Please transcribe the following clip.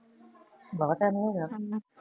ਬਾਲਾ time ਨੀ ਹੋ ਗੇਇਆ